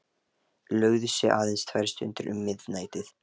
Lögðu sig aðeins tvær stundir um miðnættið.